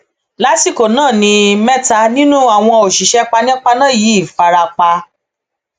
lásìkò náà ni mẹta nínú àwọn òṣìṣẹ panápaná yìí fara pa